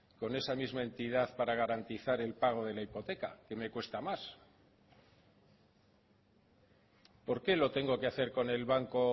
con esa misma entidad para garantizar el pago de la hipoteca que me cuesta más por qué lo tengo que hacer con el banco